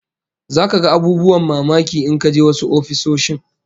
Zaka ga abubuwan mamaki in ka je wasu ofisoshin